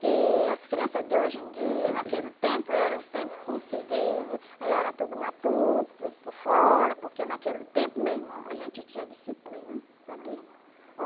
Que as criança de hoje em dia, naquele tempo, era o tempo, como se diz, aí era tudo matuto, tudo por fora, porque naquele tempo meu irmão a gente tinha disciplina, sabia?